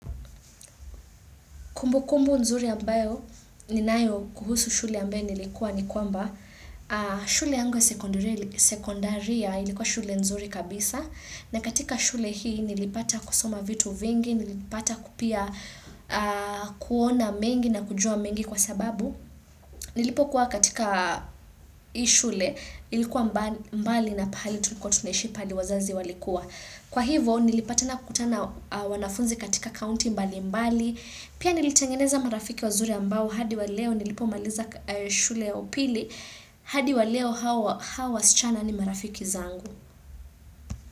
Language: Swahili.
Kumbu kumbu nzuri ambayo ninayo kuhusu shule ambayo nilikuwa ni kwamba, shule yangu sekondaria ilikuwa shule nzuri kabisa na katika shule hii nilipata kusoma vitu vingi, nilipata pia kuona mengi na kujua mengi kwa sababu. Nilipo kuwa katika hii shule ilikuwa mbali na pahali tulikuwa tuneshi pahali wazazi walikua. Kwa hivo nilipatana kutana na wanafunzi katika county mbali mbali. Pia nilitengeneza marafiki wazuri ambao hadi wa leo nilipo maliza shule ya upili. Hadi wa leo hawa wasichana ni marafiki zangu.